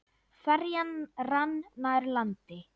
Ferjan rann nær landi.